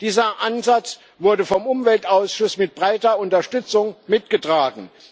Dieser Ansatz wurde vom Umweltausschuss mit breiter Unterstützung mitgetragen.